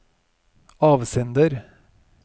avsender